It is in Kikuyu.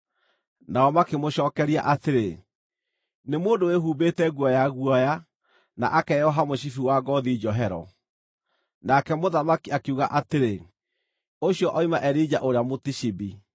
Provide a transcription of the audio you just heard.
Nao makĩmũcookeria atĩrĩ, “Nĩ mũndũ wĩhumbĩte nguo ya guoya, na akeoha mũcibi wa ngoothi njohero.” Nake mũthamaki akiuga atĩrĩ, “Ũcio oima Elija ũrĩa Mũtishibi.”